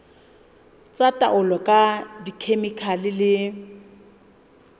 tsa taolo ka dikhemikhale le